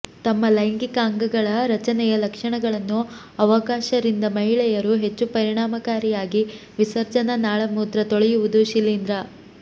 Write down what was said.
ತಮ್ಮ ಲೈಂಗಿಕ ಅಂಗಗಳ ರಚನೆಯ ಲಕ್ಷಣಗಳನ್ನು ಅವಕಾಶ ರಿಂದ ಮಹಿಳೆಯರು ಹೆಚ್ಚು ಪರಿಣಾಮಕಾರಿಯಾಗಿ ವಿಸರ್ಜನಾ ನಾಳ ಮೂತ್ರ ತೊಳೆಯುವುದು ಶಿಲೀಂಧ್ರ